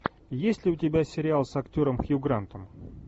есть ли у тебя сериал с актером хью грантом